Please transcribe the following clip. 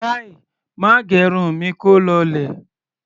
Kai! Má gẹrun mi kó lọlẹ̀!